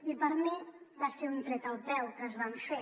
i per mi va ser un tret al peu que es van fer